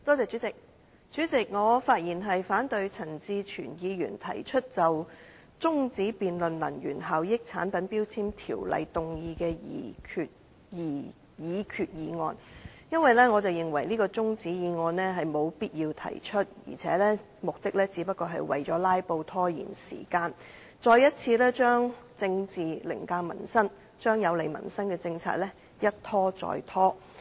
主席，我發言反對陳志全議員提出中止辯論根據《能源效益條例》動議的擬議決議案，因為我認為沒必要提出這項中止辯論議案，而且議員的目的只是為了"拉布"以拖延時間，再次把政治凌駕民生，把有利民生的政策一再拖延。